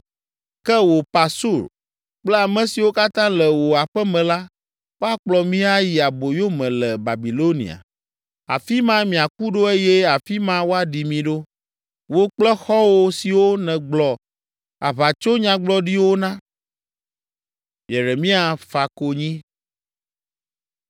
Ke wò Pasur kple ame siwo katã le wò aƒe me la, woakplɔ mi ayi aboyo me le Babilonia. Afi ma miaku ɖo eye afi ma woaɖi mi ɖo, wò kple xɔ̃wo siwo nègblɔ aʋatsonyagblɔɖiwo na.’ ”